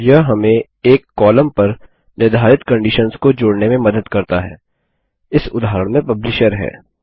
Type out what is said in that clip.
यह हमें एक कॉलम पर निर्धारित कंडिशन्स को जोड़ने में मदद करता है इस उदाहरण में पब्लिशर है